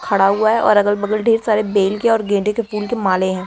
खड़ा हुआ है और अगल बगल ढेर सारे बेल के और गेंडे (गेंदे) के फूल के माले हैं।